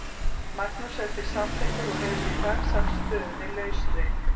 Magnús er því samþykkur og hefur í dag sagt stöðunni lausri.